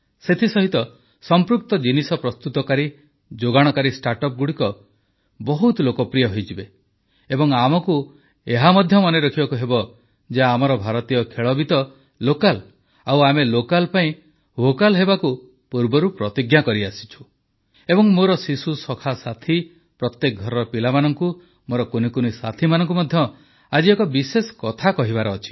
ସେଥିସହିତ ସଂପୃକ୍ତ ଜିନିଷ ପ୍ରସ୍ତୁତକାରୀ ଯୋଗାଣକାରୀ ଷ୍ଟାର୍ଟଅପଗୁଡ଼ିକ ବହୁତ ଲୋକପ୍ରିୟ ହୋଇଯିବ ଏବଂ ଆମକୁ ଏହା ମଧ୍ୟ ମନେ ରଖିବାକୁ ହେବ ଯେ ଆମର ଭାରତୀୟ ଖେଳ ବି ତ ଲୋକାଲ୍ ଆଉ ଆମେ ଲୋକାଲ୍ ପାଇଁ ଭୋକାଲ୍ ହେବାକୁ ପୂର୍ବରୁ ପ୍ରତିଜ୍ଞା କରିସାରିଛୁ ଏବଂ ମୋର ଶିଶୁସଖା ସାଥୀ ପ୍ରତ୍ୟେକ ଘରର ପିଲାମାନଙ୍କୁ ମୋର କୁନିକୁନି ସାଥିମାନଙ୍କୁ ମଧ୍ୟ ଆଜି ଏକ ବିଶେଷ କଥା କହିବାର ଅଛି